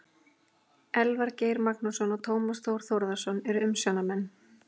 Elvar Geir Magnússon og Tómas Þór Þórðarson eru umsjónarmenn.